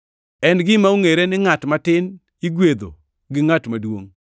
En gima ongʼere ni ngʼat matin igwedho gi ngʼat maduongʼ.